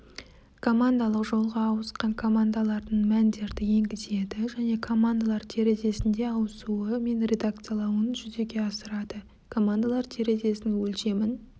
командалық жолға ауысқан командалардың мәндерді енгізеді және командалар терезесінде ауысуы мен редакциялауын жүзеге асырады командалар терезесінің өлшемін